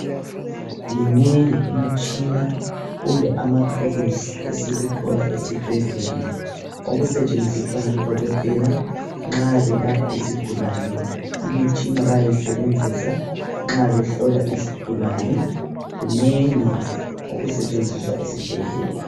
Minengi imitshina kumbe amathuluzi esikuthola esibhedlela okusetshenziswa ngodokotela nxa belapha izigulane. Imitshina bayayisebenzisa nxa behlola izigulane. Kunengi okusetshenziswa esibhedlela.